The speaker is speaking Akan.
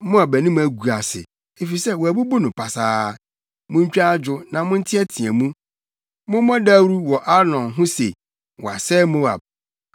Moab anim agu ase, efisɛ wɔabubu no pasaa; muntwa adwo na monteɛteɛ mu! Mommɔ dawuru wɔ Arnon ho se wɔasɛe Moab.